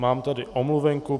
Mám tady omluvenku.